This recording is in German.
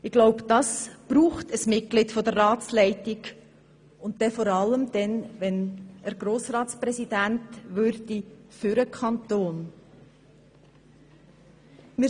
Ich glaube, diese Fähigkeit braucht ein Mitglied der Ratsleitung, und dies insbesondere dann, wenn er dann Grossratspräsident des Kantons würde.